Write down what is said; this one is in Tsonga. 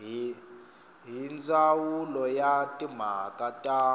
hi ndzawulo ya timhaka ta